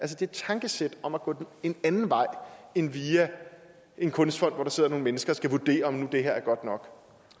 det tankesæt at gå en anden vej end via en kunstfond hvor der sidder nogle mennesker og skal vurdere om det her nu er godt nok